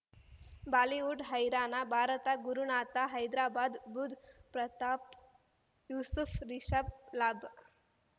Bollywood ಹೈರಾಣ ಭಾರತ ಗುರುನಾಥ ಹೈದರಾಬಾದ್ ಬುಧ್ ಪ್ರತಾಪ್ ಯೂಸುಫ್ ರಿಷಬ್ ಲಾಬ್